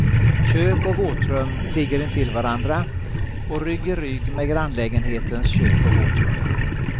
Kök och våtrum ligger intill varandra och rygg i rygg med grannlägenhetens kök och våtrum.